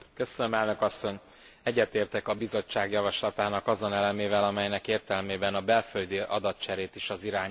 Egyetértek a Bizottság javaslatának azon elemével, amelynek értelmében a belföldi adatcserét is az irányelv hatálya alá vonná.